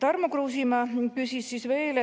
Tarmo Kruusimäe küsis veel